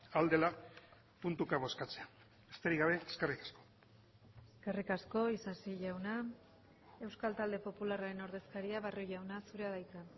ahal dela puntuka bozkatzea besterik gabe eskerrik asko eskerrik asko isasi jauna euskal talde popularraren ordezkaria barrio jauna zurea da hitza